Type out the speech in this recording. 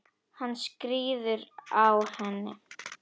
Hann skríður á henni.